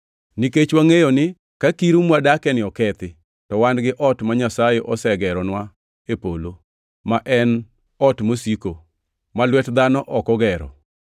Nikech wangʼeyo ni ka kiru mwadakieni okethi, to wan gi ot ma Nyasaye osegeronwa e polo, ma en ot mosiko, ma lwet dhano ok ogero.